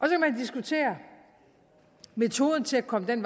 diskutere metoden til at komme den